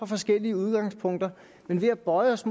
forskellige udgangspunkter men vi har bøjet os